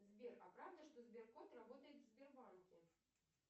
сбер а правда что сберкот работает в сбербанке